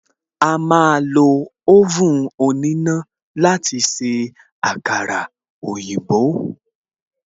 A máa lo oven òníná láti se àkàrà òyìnbó